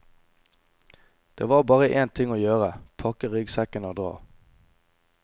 Det var bare en ting å gjøre, pakke ryggsekken og dra.